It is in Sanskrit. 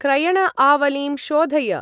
क्रयण-आवलिं शोधय।